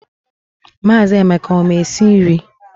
Maazị Emeka ọ ma esi nri?